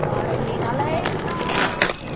Varir mínar leita.